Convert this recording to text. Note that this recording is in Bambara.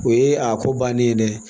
O ye a ko bannen ye dɛ